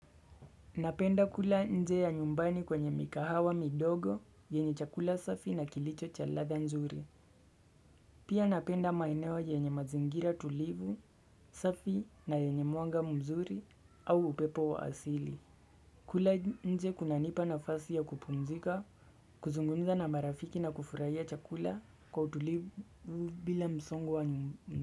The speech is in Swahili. Napenda kula nje ya nyumbani kwenye mikahawa midogo, yenye chakula safi na kilicho cha ladha nzuri. Pia napenda mainewa yenye mazingira tulivu, safi na yenye mwanga mzuri au upepo wa asili. Kula nje kuna nipa na fasi ya kupumzika, kuzungunza na marafiki na kufurahia chakula kwa utulivu bila msongu wa nyumbu.